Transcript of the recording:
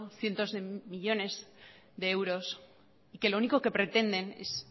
cientos de millónes de euros que lo único que pretenden es